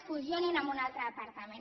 fusionin lo amb un altre departament